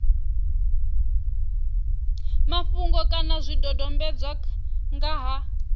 mafhungo kana zwidodombedzwa nga ha